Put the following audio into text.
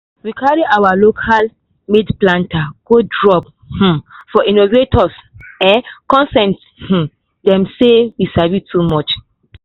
we carry our local-made planter go drop um for innovation um contest make um dem see say we sabi too.